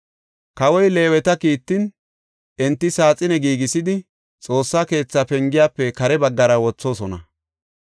Kawoy Leeweta kiittin, enti saaxine giigisidi, Xoossa keethaa pengiyafe kare baggara wothoosona.